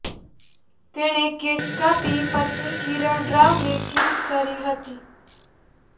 તેણે કેક કાપી પત્ની કિરણ રાવને કિસ કરી હતી